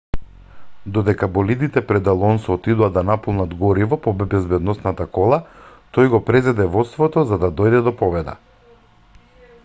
додека болидите пред алонсо отидоа да наполнат гориво по безбедносната кола тој го презеде водството за да дојде до победа